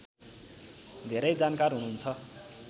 धेरै जानकार हुनुहुन्छ